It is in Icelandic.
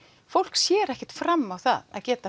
fólk sér ekkert fram á það að geta